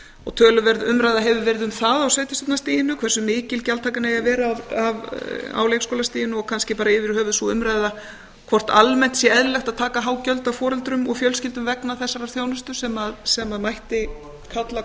og töluverð umræða hefur verið um það á sveitarstjórnarstiginu hversu mikil gjaldtakan eigi að vera á leikskólastiginu og kannski bara yfir höfuð sú umræða hvort almennt sé eðlilegt að taka há gjöld af foreldrum og fjölskyldum vegna þessarar þjónustu sem mætti kalla